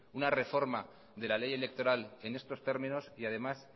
una reforma de la ley electoral en estos términos y además